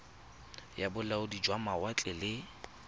ya bolaodi jwa mawatle le